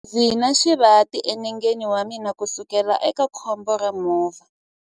Ndzi na xivati enengeni wa mina kusukela eka khombo ra movha.